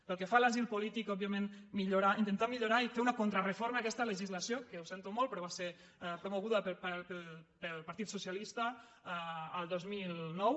pel que fa a l’asil polític òb·viament millorar intentar millorar i fer una contra·reforma d’aquesta legislació que ho sento molt però va ser promoguda pel partit socialista el dos mil nou